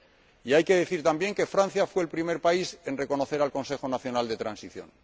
Y hay que decir también que Francia fue el primer país en reconocer al Consejo Nacional de Transición.